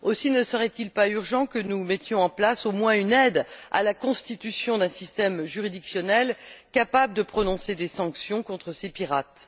Aussi, ne serait il pas urgent que nous mettions en place au moins une aide à la constitution d'un système juridictionnel capable de prononcer des sanctions contre ces pirates?